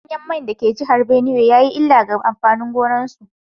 Danyen mai da ke jihar Binuwai ya yi illa ga amfanin gonakinsu